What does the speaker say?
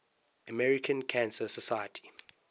american cancer society